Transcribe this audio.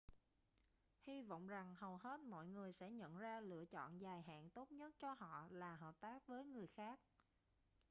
hy vọng rằng hầu hết mọi người sẽ nhận ra lựa chọn dài hạn tốt nhất cho họ là hợp tác với người khác